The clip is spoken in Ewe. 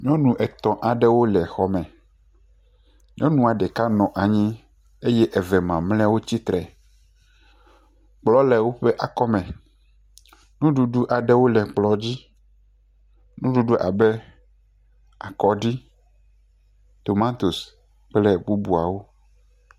Nyɔnu etɔ̃ aɖewo le xɔme, nyɔnu ɖeka nɔ anyi eye eve mamleawo tsitre, kplɔ le woƒe akɔme, nuɖuɖu aɖewo le kplɔ dzi, nuɖuɖu abe akɔɖi, tomatosi kple bubuawo.